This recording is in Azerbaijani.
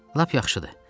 Lap yaxşıdır.